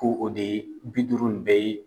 Ko o de ye bi duuru in bɛɛ ye.